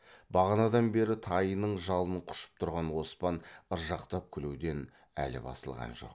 бағанадан бері тайының жалын құшып тұрған оспан ыржақтап күлуден әлі басылған жоқ